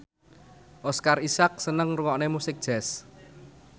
Oscar Isaac seneng ngrungokne musik jazz